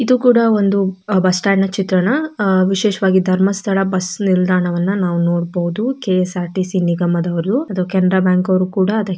ಇದೂ ಕೂಡಾ ಒಂದು ಬಸ್ ಸ್ಟಾಂಡ್ ನ ಚಿತ್ರಣ ವಿಶೇಷವಾಗಿ ಧರ್ಮಸ್ಥಳ ಬಸ್ ನಿಲ್ದಾಣ ವನ್ನು ನಾವ್ ನೋಡಬಹುದು. ಕೆ_ಎಸ್_ಆರ್_ಟಿ_ಸಿ ನಿಗಮದವರು ಕೆನೆರ ಬ್ಯಾಂಕ್ ಅವರು ಕೂಡ ಅದೆ--